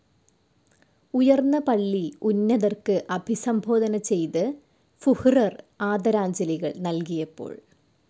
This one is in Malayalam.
ഉയർന്ന പള്ളി ഉന്നതർക്ക് അഭിസംബോധന ചെയ്ത് ഫുഹ്റെർ ആദരാഞ്ജലികൾ നൽകിയപ്പോൾ.